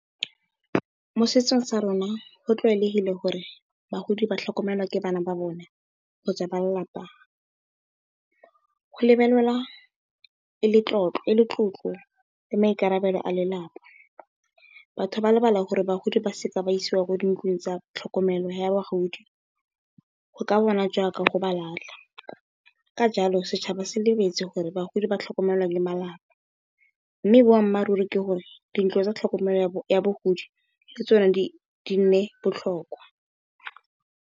Mo setsong sa rona go tlwaelegile gore bagodi ba tlhokomelwa ke bana ba bone kgotsa ba lelapa go lebelelega e le tlotlo le maikarabelo a lelapa, batho ba lebala gore bagodi ba se ka ba isiwa ko dintlong tsa tlhokomelo ya bagodi go ka bonagala jaaka go ba latlha. Ka jalo, setšhaba se lebetse gore bagodi ba tlhokomelwa ke malapa mme, boammaaruri ke gore dintlo tsa tlhokomelo ya bagodi le tsone di nne botlhokwa.